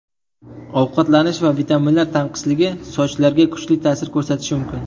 Ovqatlanish va vitaminlar tanqisligi sochlarga kuchli ta’sir ko‘rsatishi mumkin.